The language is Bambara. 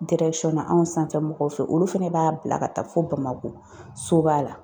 na anw sanfɛ mɔgɔw fɛ olu fɛnɛ b'a bila ka taa fo bamakɔ soba la.